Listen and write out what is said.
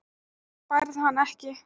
Þú færð hann ekki.